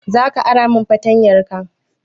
Za ka ara min fartanyarka?